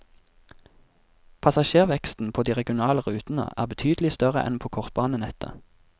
Passasjerveksten på de regionale rutene er betydelig større enn på kortbanenettet.